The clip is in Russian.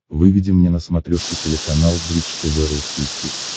выведи мне на смотрешке телеканал бридж тв русский хит